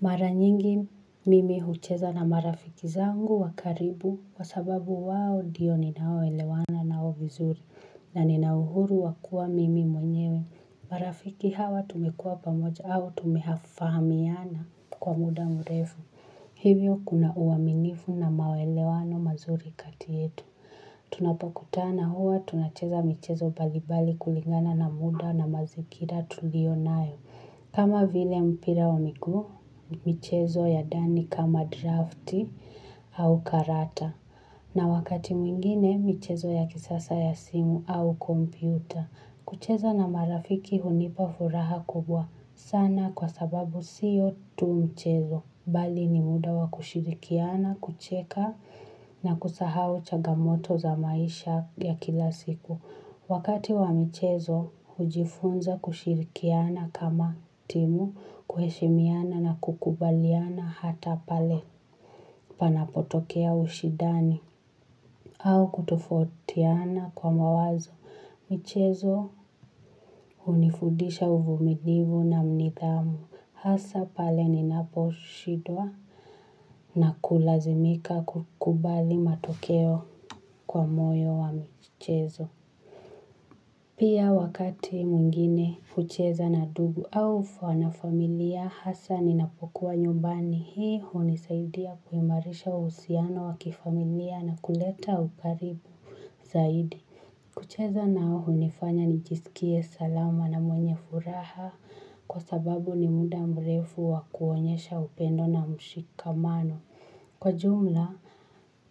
Mara nyingi mimi hucheza na marafiki zangu wa karibu kwa sababu wao ndiyo ninaoelewana nao vizuri na nina uhuru wa kuwa mimi mwenyewe. Marafiki hawa tumekuwa pamoja au tumefahamiana kwa muda mrefu. Hivyo kuna uaminifu na maelewano mazuri kati yetu. Tunapokutana huwa tunacheza michezo mbalimbali kulingana na muda na mazingira tulio nayo. Kama vile mpira wa miguu, michezo ya ndani kama drafti au karata. Na wakati mwingine, michezo ya kisasa ya simu au kompyuta. Kucheza na marafiki hunipa furaha kubwa sana kwa sababu siyo tu michezo. Bali ni muda wa kushirikiana, kucheka na kusahau changamoto za maisha ya kila siku. Wakati wa michezo hujifunza kushirikiana kama timu kuheshimiana na kukubaliana hata pale panapotokea ushindani au kutofautiana kwa mawazo. Michezo hunifudisha uvumilivu na nidhamu. Hasa pale ninaposhindwa na kulazimika kukubali matokeo kwa moyo wa michezo. Pia wakati mwingine hucheza na ndugu au na familia hasa ninapokuwa nyumbani hii hunisaidia kuimarisha uhusiano wa kifamilia na kuleta ukaribu zaidi. Kucheza nao hunifanya nijisikie salama na mwenye furaha kwa sababu ni muda mrefu wa kuonyesha upendo na mshikamano. Kwa jumla,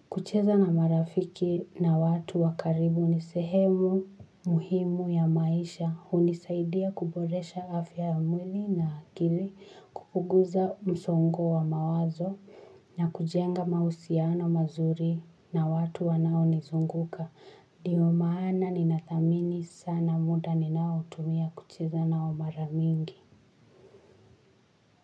kucheza na marafiki na watu wa karibu ni sehemu muhimu ya maisha hunisaidia kuboresha afya ya mwili na akili kupunguza msongo wa mawazo na kujenga mahusiano mazuri na watu wanaonizunguka, ndiyo maana ninathamini sana muda ninaotumia kucheza nao mara mingi.